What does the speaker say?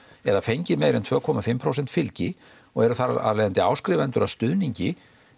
eða fengið meira en tvö komma fimm prósenta fylgi og eru þar af leiðandi áskrifendur að stuðningi